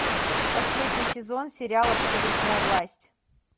последний сезон сериал абсолютная власть